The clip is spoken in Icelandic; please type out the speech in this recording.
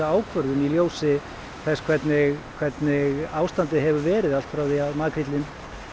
ákvörðun í ljósi þess hvernig hvernig ástandið hefur verið allt frá því að makríllinn